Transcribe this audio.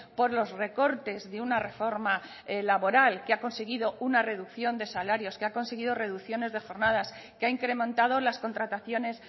por los recortes de una reforma laboral que ha conseguido una reducción de salarios que ha conseguido reducciones de jornadas que ha incrementado las contrataciones